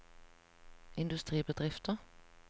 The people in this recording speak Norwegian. industribedrifter